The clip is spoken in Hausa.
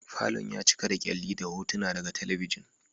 Falon ya cika da kyalli da hotuna daga talabijin.